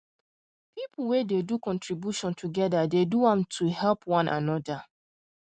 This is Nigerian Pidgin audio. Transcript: people wen dey do contribution together dey do am to to help one another